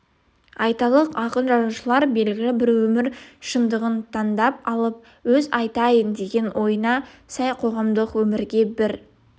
айталық ақын-жазушылар белгілі бір өмір шындығын таңдап алып өз айтайын деген ойына сай қоғамдық өмірге бір